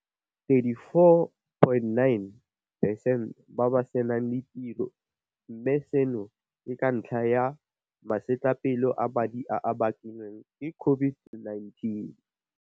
34.9 percent ba ba senang ditiro, mme seno ke ka ntlha ya masetlapelo a madi a a bakilweng ke COVID-19.